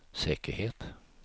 säkerhet